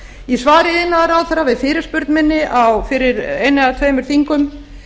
í svari iðnaðarráðherra við fyrirspurn minni fyrir einu eða tveimur þingum